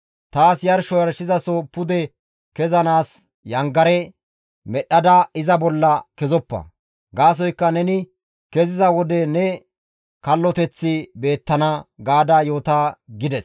Taas yarsho yarshizaso pude kezanaas yangare medhdhada iza bolla kezoppa; gaasoykka neni keziza wode ne kalloteththi beettana› gaada yoota» gides.